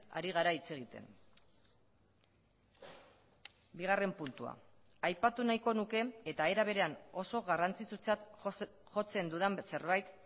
ari gara hitz egiten bigarren puntua aipatu nahiko nuke eta era berean oso garrantzitsutzat jotzen dudan zerbait